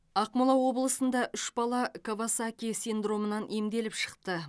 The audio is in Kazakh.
ақмола облысында үш бала кавасаки синдромынан емделіп шықты